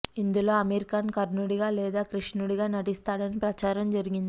ఇందులో అమీర్ ఖాన్ కర్ణుడిగా లేదా కృష్ణుడిగా నటిస్తాడని ప్రచారం జరిగింది